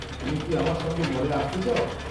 তুমি কি আমার সঙ্গে মলে আসতে চাও?